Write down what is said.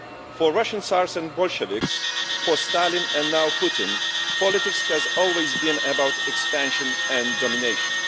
For Russian tsars and Bolsheviks, for Stalin, and now Putin, politics has always been about expansion and domination.